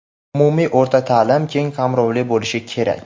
Umumiy o‘rta taʼlim keng qamrovli bo‘lishi kerak.